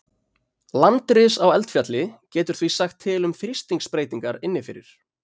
Landris á eldfjalli getur því sagt til um þrýstingsbreytingar inni fyrir.